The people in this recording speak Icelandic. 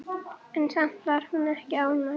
En samt var hún ekki ánægð.